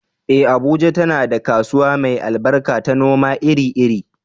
Eh, Abuja tana da kasuwa mai albarka ta noma iri-iri.